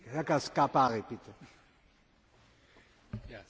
Sehr geehrter Herr Präsident, geschätzte Kolleginnen und Kollegen!